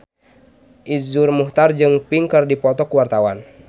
Iszur Muchtar jeung Pink keur dipoto ku wartawan